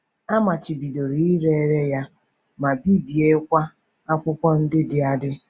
A machibidoro ire ere ya, ma bibiekwa akwụkwọ ndị dị adị.